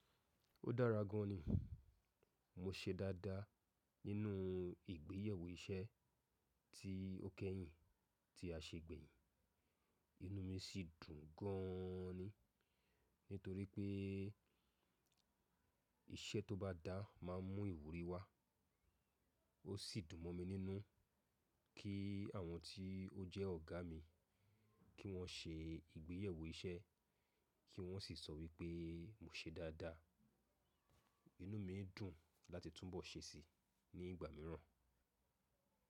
Ó dára gan ni, mo se dáadáa nínu igbeyẹwó iṣẹ́ ti ó kẹ́yìn tí a se gbẹ̀yìn, inú mi si dùn ganan ni nítorí pé iṣẹ́ tó bá dáa máa ń mú ìwúrí wa. Ó sì dùn mọ mi nínú kí àwọn tí ó jẹ́ ọ̀gá mi kí wọ́n ṣe ìgbéyẹwó iṣẹ́, kí wọ́n sì sọ wípé mo se dáadáa. Inú mi dùn láti túnbọ̀ ṣe si ní ìgbà mìíràn.